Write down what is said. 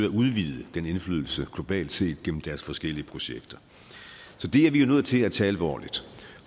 at udvide den indflydelse globalt set gennem deres forskellige projekter så det er vi nødt til at tage alvorligt